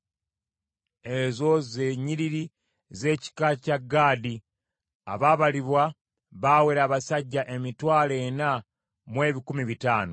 Ezo ze nnyiriri z’ekika kya Gaadi. Abaabalibwa baawera abasajja emitwalo ena mu ebikumi bitaano (40,500).